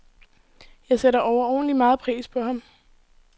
Jeg sætter overordentlig meget pris på ham.